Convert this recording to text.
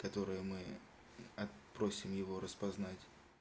которые мы просим его распознать